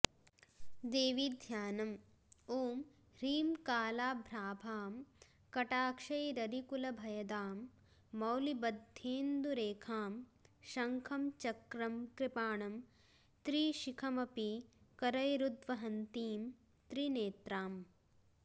देवीध्यानम् ॐ ह्रीं कालाभ्राभां कटाक्षैररिकुलभयदां मौलिबद्धेन्दुरेखां शङ्खं चक्रं कृपाणं त्रिशिखमपि करैरुद्वहन्तीं त्रिनेत्राम्